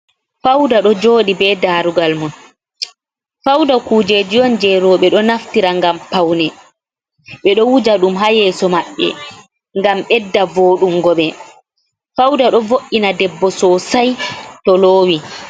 Fawda ɗon joɗi be daroggal mum, fawda kujeji on je roɓe ɗo naftira ngam pawne, ɓeɗo wuja ɗum ha yeso mabɓe ngam ɓedda voɗungo ɓe fawda ɗon vo’ina debbo sosai to lowi.